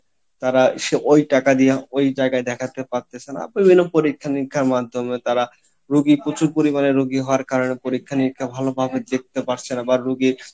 তারা ওই টাকা দিয়া ওই জায়গায় দেখাতে পারতেছে না বিভিন্ন পরীক্ষা নিরীক্ষার মাধ্যমে তারা রুগী প্রচুর পরিমাণে রুগি হওয়ার কারনে পরীক্ষা নিরীক্ষা ভালো ভাবে দেখতে পারছে না বা রুগীর